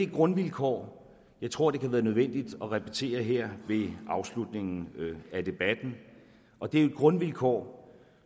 det grundvilkår jeg tror det kan være nødvendigt at repetere her ved afslutningen af debatten og det er et grundvilkår